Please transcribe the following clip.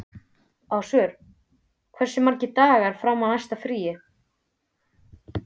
Ásvör, hversu margir dagar fram að næsta fríi?